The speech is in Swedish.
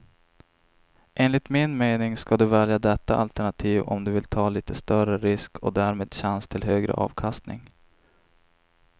Enligt min mening ska du välja detta alternativ om du vill ta lite större risk och därmed chans till högre avkastning.